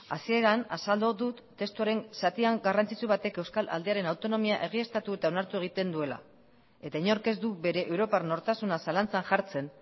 hasieran azaldu dut testuaren zatian garrantzitsu batek euskal aldearen autonomia egiaztatu eta onartu egiten duela eta inork ez du bere europar nortasuna zalantzan jartzen